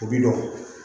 U bi dɔn